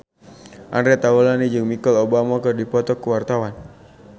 Andre Taulany jeung Michelle Obama keur dipoto ku wartawan